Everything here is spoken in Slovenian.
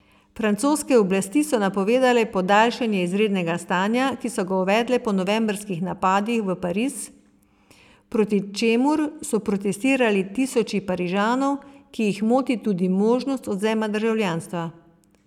Francoske oblasti so napovedale podaljšanje izrednega stanja, ki so ga uvedle po novembrskih napadih v Pariz, proti čemur so protestirali tisoči Parižanov, ki jih moti tudi možnost odvzema državljanstva.